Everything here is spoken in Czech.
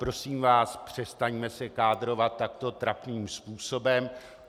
Prosím vás, přestaňme se kádrovat takto trapným způsobem.